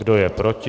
Kdo je proti?